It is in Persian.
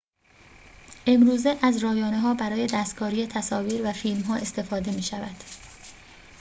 امروزه از رایانه‌ها برای دستکاری تصاویر و فیلم‌ها استفاده می‌شود